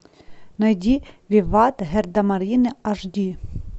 найди виват гардемарины аш ди